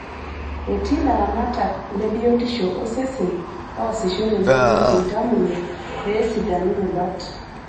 Etii laramatak lebiotisho osesen oosisho tenebo iltamoyia pee esidanu rubat.